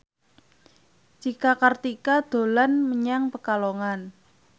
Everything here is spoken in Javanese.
Cika Kartika dolan menyang Pekalongan